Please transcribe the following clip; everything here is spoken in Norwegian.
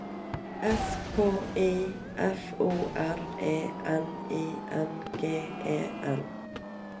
S K I F O R E N I N G E N